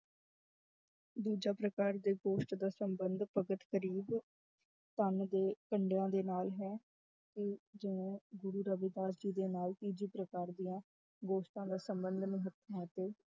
ਦੂਜਾ ਪ੍ਰਕਾਰ ਦੇ ਗੋਸ਼ਟ ਦਾ ਸੰਬੰਧ ਭਗਤ ਕਰੀਬ ਕੰਮ ਦੇ ਧੰਦਿਆਂ ਦੇ ਨਾਲ ਹੈ ਕਿ ਜਿਵੇਂ ਗੁਰੂ ਰਵਿਦਾਸ ਜੀ ਦੇ ਨਾਲ ਤੀਜੇ ਪ੍ਰਕਾਰ ਦੀਆਂ ਗੋਸ਼ਟਾਂ ਦਾ ਸੰਬੰਧ